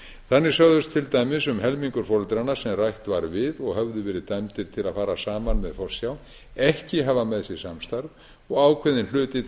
þannig sögðust til dæmis um helmingur foreldranna sem rætt var við og höfðu verið dæmdir ári að fara saman með forsjá ekki hafa með sér samstarf og ákveðinn hluti